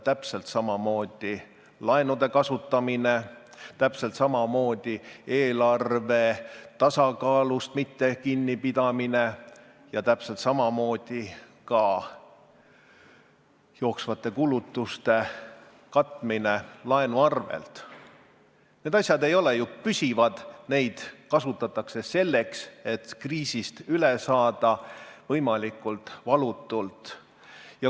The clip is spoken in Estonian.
Täpselt samamoodi laenude kasutamine, täpselt samamoodi eelarve tasakaalust mittekinnipidamine ja täpselt samamoodi ka jooksvate kulutuste katmine laenu arvel – need asjad ei ole ju püsivad, neid kasutatakse selleks, et kriisist üle saada võimalikult valutult.